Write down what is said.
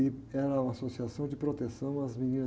E era uma associação de proteção às meninas.